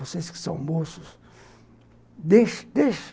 Vocês que são moços, deixe deixe